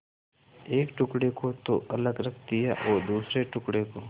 एक टुकड़े को तो अलग रख दिया और दूसरे टुकड़े को